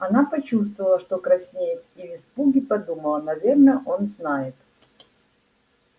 она почувствовала что краснеет и в испуге подумала наверное он знает